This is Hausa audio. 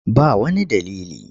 Ba wani dalili.